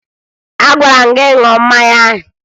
Agwara m gị ṅụọ mmanya ahụ!